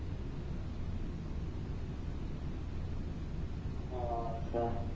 হম আচ্ছা